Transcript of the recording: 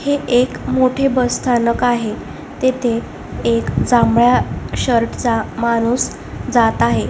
हे एक मोठे बस स्थानक आहे तेथे एक जांभळा शर्ट चा माणूस जात आहे.